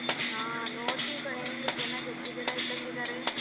ಹಾ ನೋಡ್ತೀವ್ ಕಣೆ ಜನ ಜನ ಇದ್ದಂಗ್ ಇದಾರೇ.